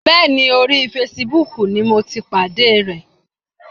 Bẹ́ẹ̀ni, orí fesibúùkù ni mo ti pàdé ẹ̀.